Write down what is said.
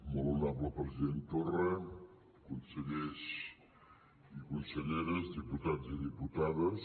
molt honorable president torra consellers i conselleres diputats i diputades